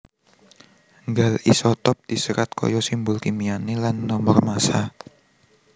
Nggal isotop diserat kaya simbol kimiané lan nomor massa